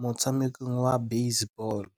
motshamekong wa basebôlô.